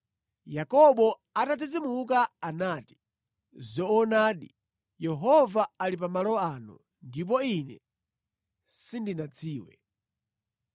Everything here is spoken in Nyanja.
Yakobo atadzidzimuka, anati, “Zoonadi Yehova ali pa malo ano, ndipo ine sindinadziwe.”